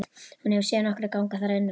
Hún hefur séð nokkra ganga þar inn og út.